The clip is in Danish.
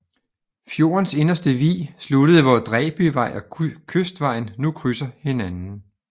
Fjordens inderste vig sluttede hvor Dræbyvej og Kystvejen nu krydser hinanden